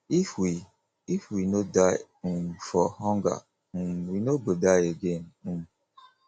if we if we no die um for hunger um we no go die again um